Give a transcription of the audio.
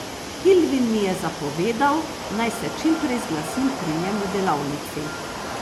Kilvin mi je zapovedal, naj se čim prej zglasim pri njem v delavnici.